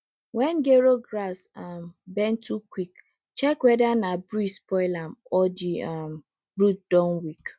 wen gero grass um bend too quick check weather na breeze spoil am or di um root don weak